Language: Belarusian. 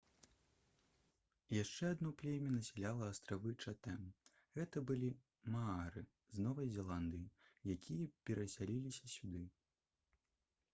яшчэ адно племя насяляла астравы чатэм гэта былі маары з новай зеландыі якія перасяліліся сюды